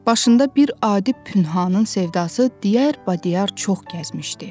Başında bir adi Pünhanın sevdası diyar bədiyər çox gəzmişdi.